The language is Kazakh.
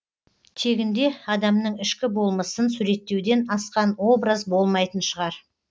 тегінде адамның ішкі болмысын суреттеуден асқан образ болмайтын шығар